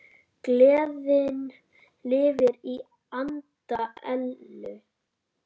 Gleðin lifir í anda Ellu.